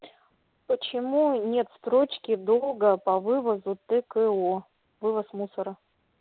почему нет строчки долго по вывозу тко вывоз мусора